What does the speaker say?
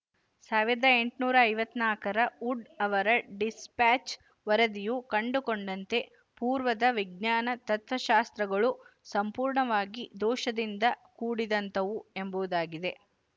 ಸಾವಿರದ ಎಂಟುನೂರ ಐವತ್ತ್ ನಾಲ್ಕರ ವುಡ್ ಅವರ ಡಿಸ್ಪ್ಯಾಚ್ ವರದಿಯು ಕಂಡುಕೊಂಡಂತೆ ಪೂರ್ವದ ವಿಜ್ಞಾನ ತತ್ವಶಾಸ್ತ್ರಗಳು ಸಂಪೂರ್ಣವಾಗಿ ದೋಶದಿಂದ ಕೂಡಿದಂತವು ಎಂಬುದಾಗಿದೆ